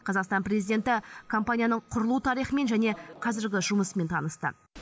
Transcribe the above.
қазақстан президенті компанияның құрылу тарихымен және қазіргі жұмысымен танысты